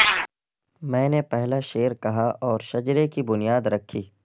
میں نے پہلا شعر کہا اور شجرے کی بنیاد رکھی